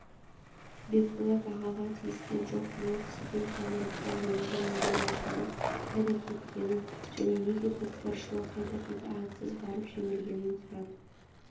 бекболат ағаға тиіскен жоқпын ол кісіден самұрықтан бөлінген миллион ақшаның қайда кеткенін және неге көкпаршылар қайта-қайта атсыз барып жеңілгенін сұрадық